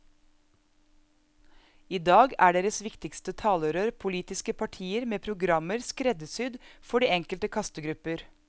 I dag er deres viktigste talerør politiske partier med programmer skreddersydd for de enkelte kastegrupper.